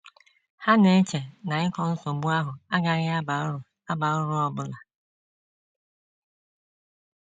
Ha na - eche na ịkọ nsogbu ahụ agaghị aba uru aba uru ọ bụla.